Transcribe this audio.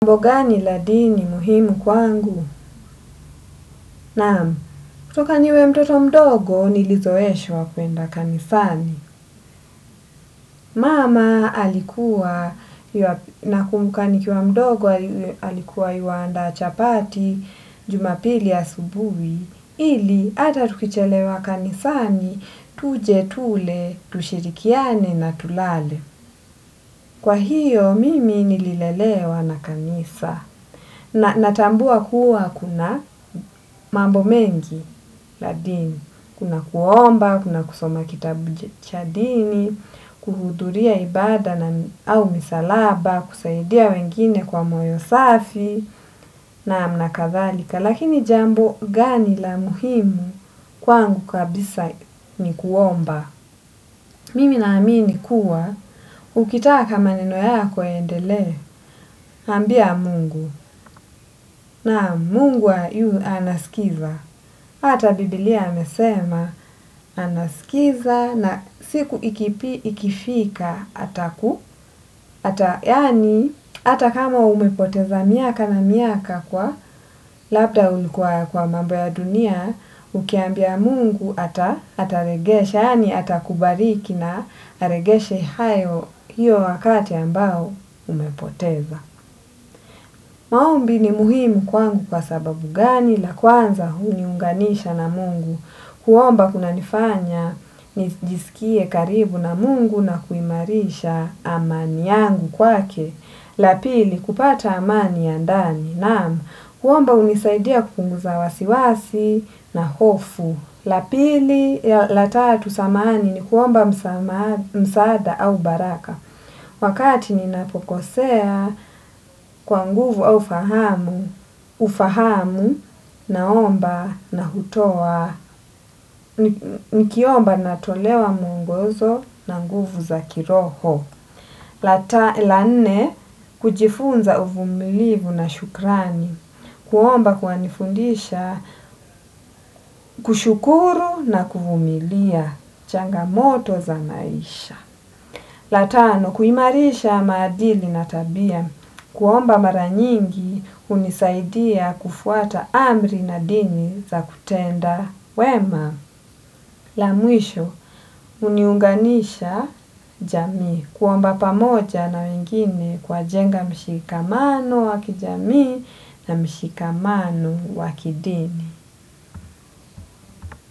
Mambo gani la dini muhimu kwangu? Naam, kutoka niwe mtoto mdogo nilizoeshwa kuenda kanisani. Mama alikuwa nakumbuka nikiwa mdogo alikuwa yuandaa chapati jumapili asubuhi. Ili, ata tukichelewa kanisani, tuje, tule, tushirikiane na tulale. Kwa hiyo, mimi nililelewa na kanisa. Na natambua kuwa kuna mambo mengi la dini. Kuna kuomba, kuna kusoma kitabu cha dini, kuhuduria ibada au misalaba, kusaidia wengine kwa moyo safi naam na kadhalika. Lakini jambo gani la muhimu kwangu kabisa ni kuomba. Mimi naamini kuwa, ukitaka maneno yako yaendelee, ambia mungu, na mungu yu anaskiza. Ata biblia amesema, anaskiza na siku ikifika ataku, ata yaani, ata kama umepoteza miaka na miaka kwa, labda ulikuwa kwa mambo ya dunia, ukiambia mungu atarejeshe, yaani atakubariki na arejeshe hayo hio wakati ambao umepoteza. Maombi ni muhimu kwangu kwa sababu gani la kwanza uniunganisha na Mungu. Kuomba kuna nifanya nijisikie karibu na Mungu na kuimarisha amani yangu kwake. La pili, kupata amani ya ndani. Naam, kuomba unisaidia kupunguza wasiwasi na hofu. La pili, la tatu samani ni kuomba msaada au baraka. Wakati ni napokosea kwa nguvu au fahamu, ufahamu na omba na hutowa. Nikiomba na tolewa muongozo na nguvu za kiroho. La nne, kujifunza uvumilivu na shukrani, kuomba kunanifundisha, kushukuru na kuvumilia, changa moto za maisha. La tano, kuimarisha maadili na tabia, kuomba maranyingi, unisaidia kufuata amri na dini za kutenda wema. La mwisho, uniunganisha jamii kuomba pamoja na wengine kwajenga mshikamano wakijamii na mshikamano wakidini.